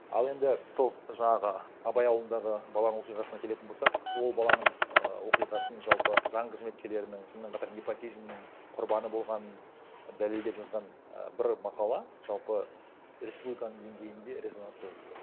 ал енді сол жаңағы абай ауылындағы баланың оқиғасына келетін болсақ ол баланың ііі оқиғасын жалпы заң қызметкерлерінің сонымен қатар непотизмнің құрбаны болғанын дәлелдеп жазған і бір мақала жалпы республиканың денгейінде резонанс туғызды